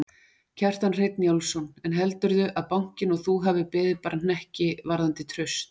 Kjartan Hreinn Njálsson: En heldurðu að bankinn og þú hafi beðið bara hnekki varðandi traust?